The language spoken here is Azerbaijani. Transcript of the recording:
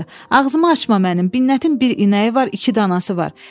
Ağzımı açma mənim, Binnətin bir inəyi var, iki danası var.